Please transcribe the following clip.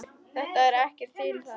Þetta er ekkert til að.